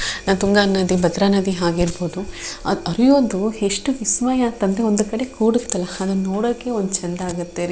ತುಂಗಾ ನದಿ ಭದ್ರ ನದಿ ಹಾಗೆ ಇರ್ಬಹುದು ಅದು ಹರಿಯೋದು ಎಷ್ಟು ವಿಸ್ಮಯ ಅಂದ್ರೆ ಒಂದ್ ಕಡೆ ಕುಡತ್ತಲ್ಲ ಅದನ್ನ ನೋಡೋಕೆ ಒಂದ್ ಚೆಂದ ಆಗುತ್ತೆ ರೀ --